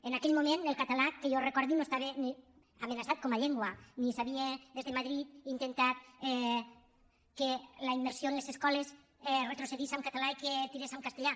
en aquell moment el català que jo recordi no estava ni amenaçat com a llengua ni s’havia des de madrid intentat que la immersió en les escoles retrocedís en català i que tirés en castellà